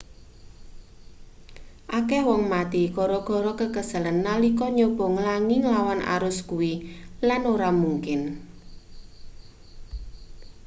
akeh wong mati gara-gara kekeselen nalika nyoba nglangi nglawan arus kuwi lan ora mungkin